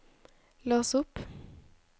lås opp